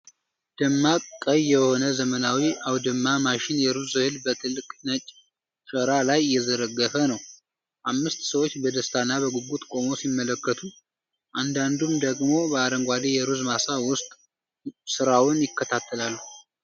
ደማቅ ቀይ የሆነ ዘመናዊ አውድማ ማሽን የሩዝ እህል በትልቅ ነጭ ሸራ ላይ እየዘረገፈ ነው። አምስት ሰዎች በደስታና በጉጉት ቆመው ሲመለከቱ፣ አንዳንዱም ደግሞ በአረንጓዴ የሩዝ ማሳ ውስጥ ስራውን ይከታተላሉ።